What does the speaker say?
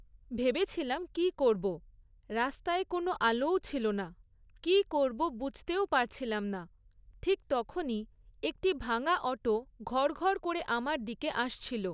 ভেবেছিলাম কী করব। রাস্তায় কোনো আলোও ছিল না, কী করব বুঝতেও পারছিলাম না, ঠিক তখনই একটি ভাঙা অটো ঘড়ঘড় করে আমার দিকে আসছিল।